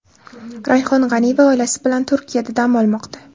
Rayhon G‘aniyeva oilasi bilan Turkiyada dam olmoqda .